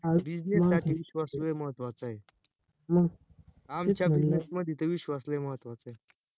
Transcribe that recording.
business साठी विश्वास लय महत्वाचा आहे आमच्या business मध्ये तर विश्वास लय महत्वा चा आहे